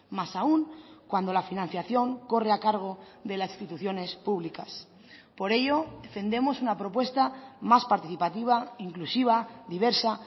más aun cuando la financiación corre a cargo de las instituciones públicas por ello defendemos una propuesta más participativa inclusiva diversa